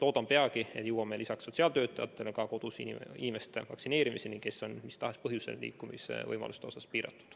Loodan, et jõuame peagi lisaks sotsiaaltöötajatele ka selliste kodus olevate inimeste vaktsineerimiseni, kelle liikumisvõimalused on mis tahes põhjusel piiratud.